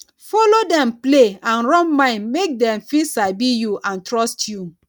follow dem play and rub mind make dem fit sabi you and trust you